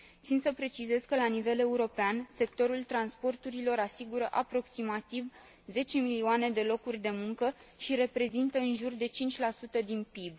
Țin să precizez că, la nivel european, sectorul transporturilor asigură aproximativ 10 milioane de locuri de muncă și reprezintă în jur de 5 din PIB.